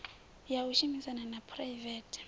ya u shumisana ha phuraivethe